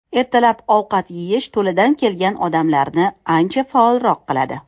Ertalab ovqat yeyish to‘ladan kelgan odamlarni ancha faolroq qiladi.